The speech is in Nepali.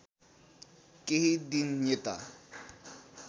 केही दिन यता